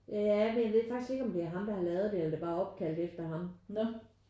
Ja eller jeg ved faktisk ikke om det er ham der har lavet det eller om det bare er opkaldt efter ham